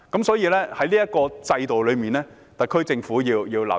所以，在這方面，特區政府必須留意。